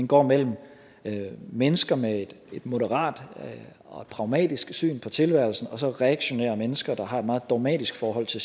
går mellem mennesker med et moderat og pragmatisk syn på tilværelsen og så reaktionære mennesker der har et meget dogmatisk forhold til